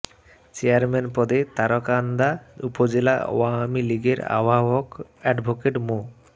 chairman পদে তারাকান্দা উপজেলা আওয়ামী লীগের আহ্বায়ক অ্যাডভোকেট মো